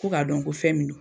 Ko k'a dɔn ko fɛn min no